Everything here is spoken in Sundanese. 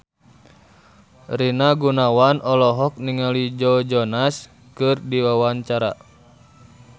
Rina Gunawan olohok ningali Joe Jonas keur diwawancara